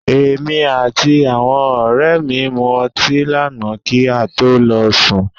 Èmi àti àwọn ọ̀rẹ́ mi mu ọti lànáà kí a to lọ sùn.